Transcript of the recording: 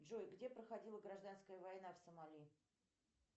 джой где проходила гражданская война в сомали